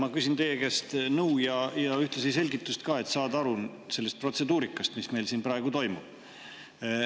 Ma küsin teie käest nõu ja ühtlasi selgitust, et saada aru protseduurikast, mis meil praegu toimub.